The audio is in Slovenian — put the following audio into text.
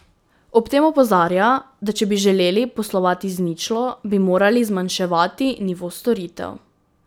Ob tem opozarja, da če bi želeli poslovati z ničlo, bi morali zmanjševati nivo storitev.